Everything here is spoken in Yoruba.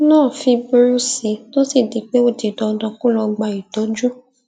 náà fi burú sí i tó sì di pé ó di dandan kó lọ gba ìtójú